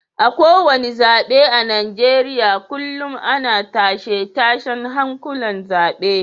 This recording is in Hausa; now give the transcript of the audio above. A kowane zabe a Najeriya kullum ana tashe-tashen hankulan zabe